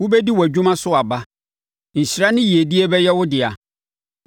Wobɛdi wʼadwuma so aba; nhyira ne yiedie bɛyɛ wo dea.